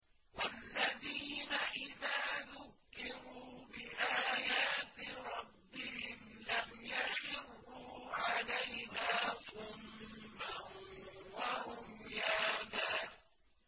وَالَّذِينَ إِذَا ذُكِّرُوا بِآيَاتِ رَبِّهِمْ لَمْ يَخِرُّوا عَلَيْهَا صُمًّا وَعُمْيَانًا